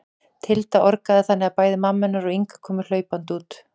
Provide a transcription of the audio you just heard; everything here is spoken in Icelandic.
Tilda orgaði þannig að bæði mamma hennar og Inga komu hlaupandi út.